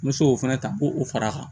N bɛ se k'o fɛnɛ ta k'o fara a kan